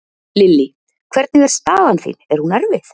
Lillý: Hvernig er staðan þín, er hún erfið?